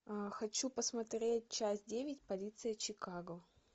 хочу посмотреть часть девять полиция чикаго